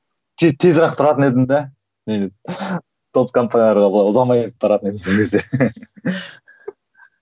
тез тұратын едім де неден топ компанияларға былай ұзамай тұратын едім сол кезде